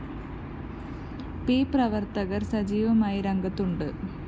P പ്രവര്‍ത്തകര്‍ സജീവമായി രംഗത്തുണ്ട്